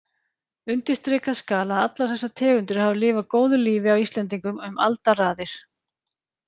Undirstrikað skal að allar þessar tegundir hafa lifað góðu lífi á Íslendingum um alda raðir.